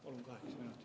Palun kaheksa minutit.